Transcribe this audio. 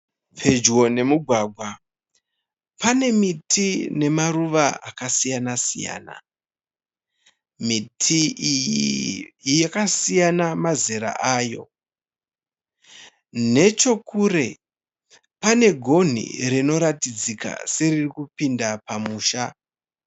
Pedyo nemugwagwa pane miti nemaruwa akasiyana siyana miti iyi yakasiyana mazera ayo nechokure pane gonhi ririkutidzika seriri kupinda pamusha.